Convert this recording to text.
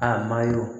A ma y'o ye